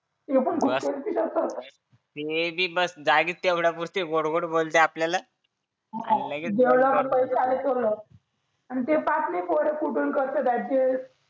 लोक भूषण ती करतात ते बी बस जागेच तेवढ्यापुरती गोड गोड बोलतात आपल्याला आणि लगेच जेवढ्या कडून पैसा आला तेवढा आणि पास नाही पडत कुठून करतात समायोजित करा